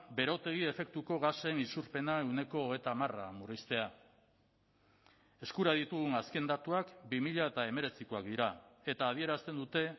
berotegi efektuko gasen isurpena ehuneko hogeita hamar murriztea eskura ditugun azken datuak bi mila hemeretzikoak dira eta adierazten dute